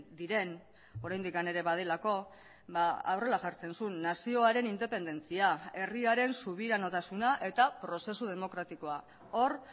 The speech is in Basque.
diren oraindik ere badelako horrela jartzen zuen nazioaren independentzia herriaren subiranotasuna eta prozesu demokratikoa hor